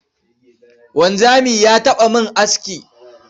Wanzami ya taɓa min aski.